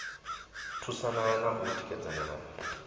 thusana na u tikedzana na